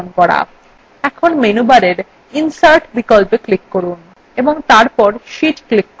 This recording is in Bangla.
এখন menu bar insert বিকল্পএ click করুন ও তারপর sheetএ click করুন